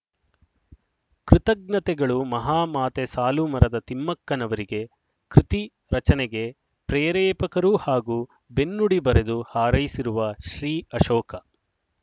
ಕೃಜ್ಞತೆಗಳು ಮಹಾಮಾತೆ ಸಾಲುಮರದ ತಿಮ್ಮಕ್ಕನವರಿಗೆ ಕೃತಿ ರಚನೆಗೆ ಪ್ರೇರೇಪಕರೂ ಹಾಗೂ ಬೆನ್ನುಡಿ ಬರೆದು ಹಾರೈಸಿರುವ ಶ್ರೀ ಅಶೋಕ